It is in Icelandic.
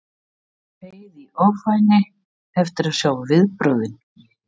Ég beið í ofvæni eftir að sjá viðbrögðin.